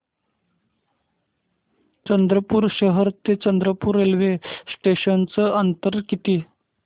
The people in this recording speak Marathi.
चंद्रपूर शहर ते चंद्रपुर रेल्वे स्टेशनचं अंतर किती